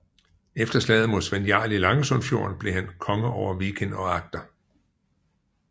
Efter slaget mod Svend Jarl i Langesundfjorden blev han konge over Viken og Agder